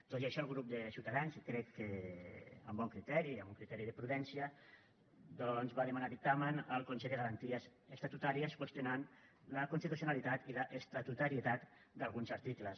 tot i això el grup de ciutadans i crec que amb bon criteri amb un criteri de prudència doncs va demanar dictamen al consell de garanties estatutàries i va qüestionar la constitucionalitat i l’estatutarietat d’alguns articles